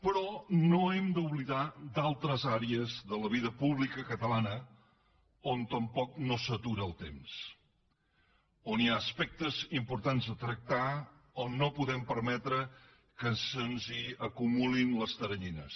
però no hem d’oblidar altres àrees de la vida pública catalana on tampoc no s’atura el temps on hi ha aspectes importants a tractar on no podem permetre que se’ns acumulin les teranyines